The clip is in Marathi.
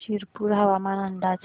शिरपूर हवामान अंदाज